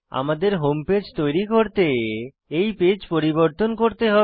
আমি আমাদের home page তৈরি করতে এই পেজ পরিবর্তন করতে হবে